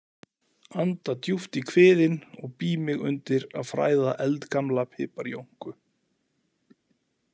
Anda djúpt í kviðinn og bý mig undir að fræða eldgamla piparjónku.